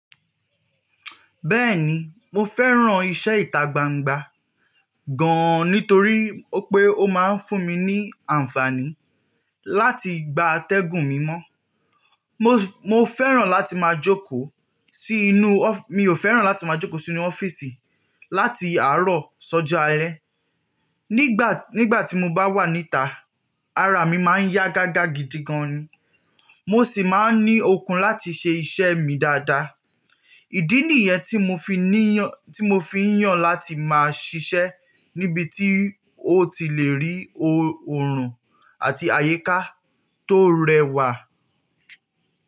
Bẹ́ẹ̀ni mo fẹ́ràn iṣẹ́ ìta gbangba gan nítorí pé ó máa ń fún mi ní àǹfààní láti gba atẹ́gùn mimọ́. Mo, mo fẹ́ràn láti máa jókòó sí inú ọ́-- mi ò fẹ́ràn láti máa jókòó sí inú ọ́fíìsì láti àárọ̀ ṣọ́jo alẹ́. Nígbà, nígbà tí mo bá wà níta, ara mi máa ń yá gágá gidi gan ni. Mo sì máa ń ní okun láti ṣe iṣẹ́ mi dáadáa. Ìdí nìyẹn tí mo fi níyàn, tí mo fi ń yàn láti máa ṣiṣẹ́ níbi tí ó ti le rí oòrùn àti àyíká tó rẹwà.